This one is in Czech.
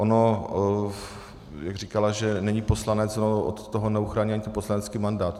Ono jak říkala, že není poslanec - no od toho neuchrání ani poslanecký mandát.